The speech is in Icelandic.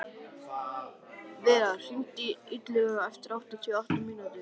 Viðar, hringdu í Illuga eftir áttatíu og átta mínútur.